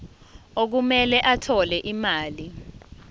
okumele athole imali